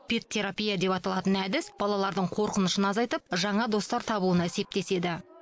пет терапия деп аталатын әдіс балалардың қорқынышын азайтып жаңа достар табуына септеседі